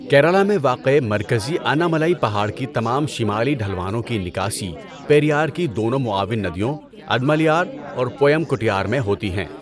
کیرالہ میں واقع مرکزی اناملائی پہاڑ کی تمام شمالی ڈھلوانوں کی نکاسی پیریار کی دونوں معاون ندیوں ادمالیار اور پویام کُٹیار میں ہوتی ہیں۔